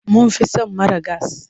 Mun fi son mara gas.